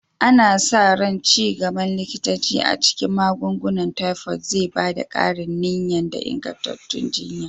Ana sa ran ci gaban likitanci a cikin magungunan tifod zai ba da ƙarin niyya da ingantattun jiyya.